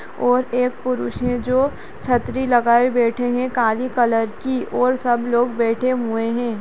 और एक पुरुष हैं जो छत्री लगाए बैठे हैं काले कलर की और सब लोग बैठे हुए हैं।